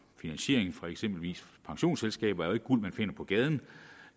finansiering fra eksempelvis pensionsselskaber er jo ikke guld man finder på gaden